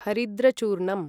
हरिद्रचूर्णम्